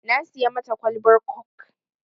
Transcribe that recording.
Na siya mata kwalbar kok